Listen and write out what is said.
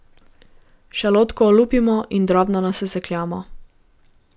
Šalotko olupimo in drobno nasekljamo.